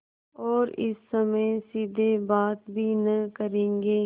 और इस समय सीधे बात भी न करेंगे